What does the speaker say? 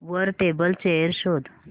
वर table chair शोध